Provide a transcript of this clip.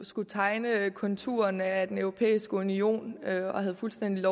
skulle tegne konturerne af den europæiske union og havde fuldstændig